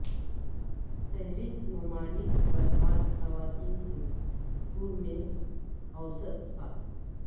فہرست ممالک بلحاظ خواتین کے سکول میں اوسط سال